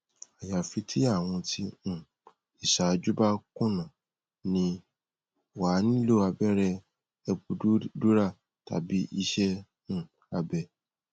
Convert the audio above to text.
ayafi ti awon ti um isaju ba kuna ni wa a nilo abere epidural tabi ise um abe